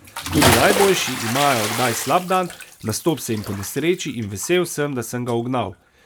Tudi najboljši imajo kdaj slab dan, nastop se jim ponesreči in vesel sem, da sem ga ugnal.